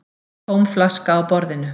Tóm flaska á borðinu.